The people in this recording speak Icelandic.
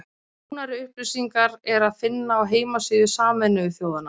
Nánari upplýsingar er að finna á heimasíðu Sameinuðu þjóðanna.